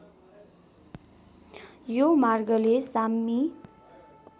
यो मार्गले साम्मी